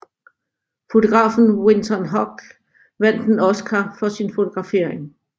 Fotografen Winton Hoch vandt en Oscar for sin fotografering